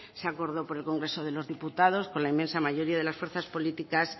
se acordó por el congreso de los diputados con la inmensa mayoría de las fuerzas políticas